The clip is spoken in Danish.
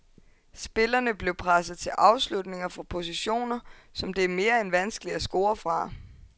Spillerne blev presset til afslutninger fra positioner, som det er mere end vanskeligt at score fra.